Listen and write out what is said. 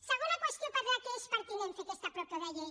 segona qüestió per la qual és pertinent fer aquesta propo de llei